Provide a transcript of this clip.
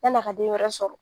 Yan' a ka den wɛrɛ sɔrɔ.